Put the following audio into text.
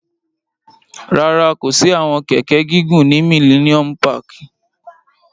Rárá, ko si awọn kẹkẹ gigun ni Milleniom pààki